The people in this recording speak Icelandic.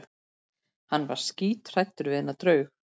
Hann var skíthræddur við þennan draug.